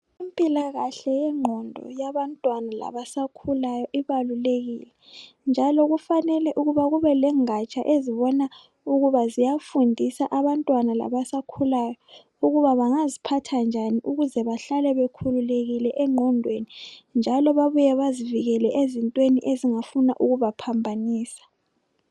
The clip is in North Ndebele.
Impilakahle yengqondo yabantwana labasakhulayo ibalulekile njalo kufanele ukuba kubelengaja ezibona ukuba ziyafundisa abantwana labasakhulayo ukuba bangazphatha njani ukuze bahlale bekhululekile engqondweni njalo babuye bazivikele ezintweni ezingafuna ukubaphambanisa.